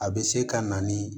A bɛ se ka na ni